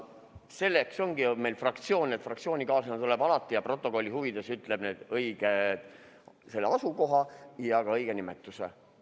Selleks ongi meil fraktsioon, et fraktsioonikaaslane tuleb ja ütleb alati stenogrammi huvides välja selle õige asukoha ja ka õige nimetuse.